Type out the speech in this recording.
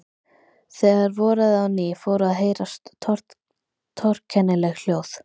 Þegar voraði á ný fóru að heyrast torkennileg hljóð.